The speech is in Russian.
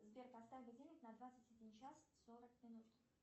сбер поставь будильник на двадцать один час сорок минут